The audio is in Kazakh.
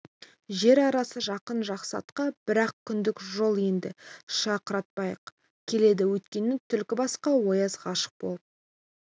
жер арасы жақын жақсы атқа бір-ақ күндік жол енді шақыртпай-ақ келеді өйткені түлкібасқа ояз ғашық болып